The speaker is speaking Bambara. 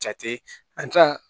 Jate an ka